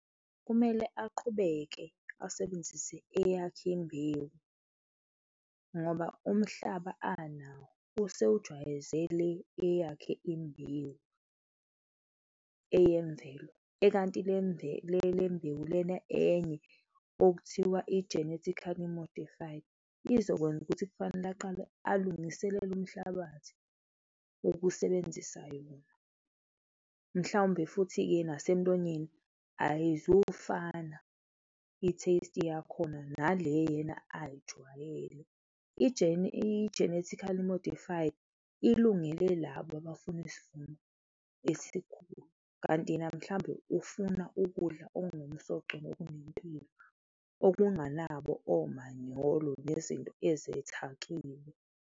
Kumele aqhubeke asebenzise eyakhe imbewu ngoba umhlaba anawo, usewujwayezele eyakhe imbewu eyemvelo ekanti le lembewu lena enye okuthiwa i-genetically modified, izokwenza ukuthi kufanele aqale alungiselele umhlabathi ukusebenzisa yona mhlawumbe futhi-ke nasemlonyeni ayizufana i-taste yakhona nale yena ayijwayele. I-genetically modified, ilungele labo abafuna isivuno esikhulu kanti yena mhlawumbe ufuna ukudla okunomsoco nokunempilo okunganakho omanyolo nezinto ezethakiwe.